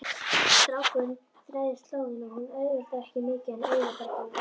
Strákurinn þræðir slóðina, hún auðveldar ekki mikið en auðveldar þó.